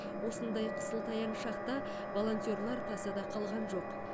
осындай қысылтаяң шақта волонтерлар тасада қалған жоқ